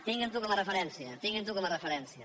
tinguin ho com a referència tinguin ho com a referència